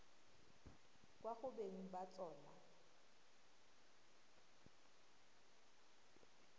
kwa go beng ba tsona